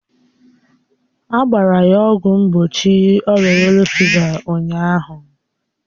A gbara ya ọgwụ mgbochi ọrịa yelo fịva ụnyaahụ